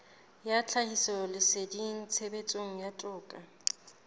ya tlhahisoleseding tshebetsong ya toka